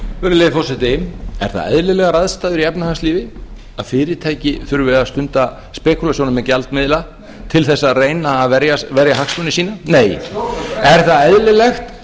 virðulegi forseti eru það eðlilegar aðstæður í efnahagslífi að fyrirtæki þurfi að stunda spekúlasjónir með gjaldmiðla til þess að reyna að verja hagsmuni sína nei er það eðlilegt að almenningur